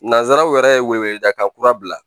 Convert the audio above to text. Nanzaraw yɛrɛ ye wele dakan kura bila